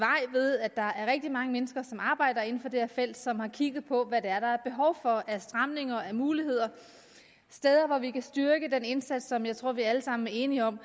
ved at der er rigtig mange mennesker som arbejder inden for det her felt som har kigget på hvad der er behov for af stramninger og muligheder steder hvor vi kan styrke den indsats som jeg tror at vi alle sammen er enige om